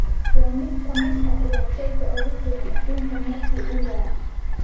waa mid ka mid ah ciyaartoyda ugu fiican adduunka markii uu yaraa.